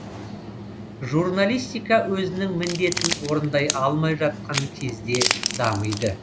журналистика өзінің міндетін орындай алмай жатқан кезде дамиды